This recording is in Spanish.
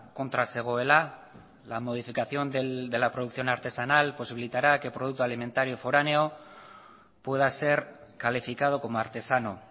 kontra zegoela la modificación de la producción artesanal posibilitará que producto alimentario foráneo pueda ser calificado como artesano